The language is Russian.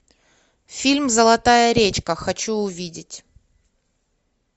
фильм золотая речка хочу увидеть